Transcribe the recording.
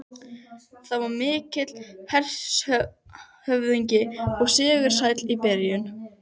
Það var mikill hershöfðingi og sigursæll í byrjun.